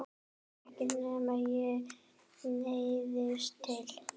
Ekki nema ég neyðist til.